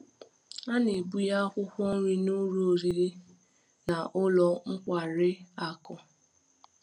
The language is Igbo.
A na-ebunye akwụkwọ nri n’ụlọ oriri na ụlọ nkwari akụ.